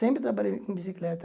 Sempre trabalhei com bicicleta.